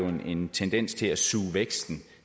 en tendens til at suge væksten